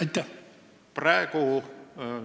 Aitäh!